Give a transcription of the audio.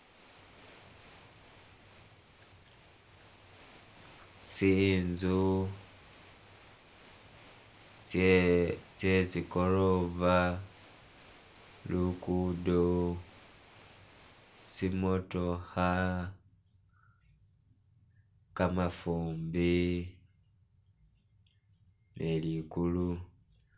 tsinzu tsye tsikorova, lukudo, tsi motooha, kamafumbi ne likulu